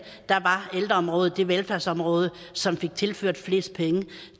var ældreområdet det velfærdsområde som fik tilført flest penge